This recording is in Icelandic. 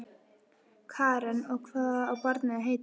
Karen: Og hvað á barnið að heita?